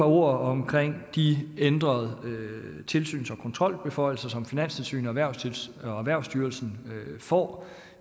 ord om de ændrede tilsyns og kontrolbeføjelser som finanstilsynet og erhvervsstyrelsen får